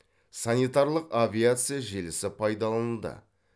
санитарлық авиация желісі пайдаланылды